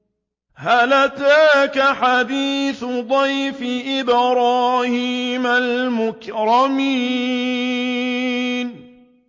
هَلْ أَتَاكَ حَدِيثُ ضَيْفِ إِبْرَاهِيمَ الْمُكْرَمِينَ